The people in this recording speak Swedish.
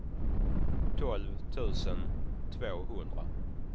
tolv tusen tvåhundra